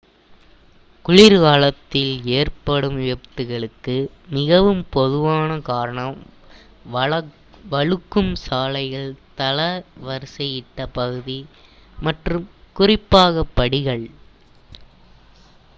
குளிர்காலத்தில் ஏற்படும் விபத்துகளுக்கு மிகவும் பொதுவான காரணம் வழுக்கும் சாலைகள் தள வரிசையிட்ட பகுதி நடைபாதைகள் மற்றும் குறிப்பாக படிகள்